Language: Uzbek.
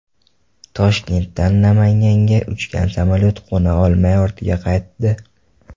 Toshkentdan Namanganga uchgan samolyot qo‘na olmay ortga qaytdi.